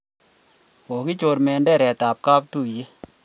Kokichor menderet ab katuyet